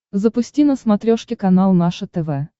запусти на смотрешке канал наше тв